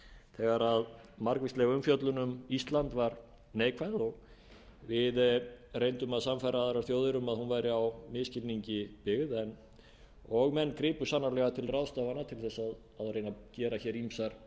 þegar margvísleg umfjöllun um ísland var neikvæð og við reyndum að sannfæra aðrar þjóðir um að hún væri á misskilningi byggð og menn gripu sannarlega til ráðstafana til að reyna að gera ýmsar